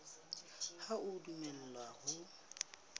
ha o a dumellwa ho